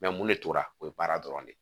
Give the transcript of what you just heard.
mun de tora o ye baara dɔrɔn de ye